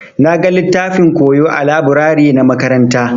Na gan littafin koyo ã laburare na makaranta.